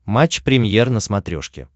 матч премьер на смотрешке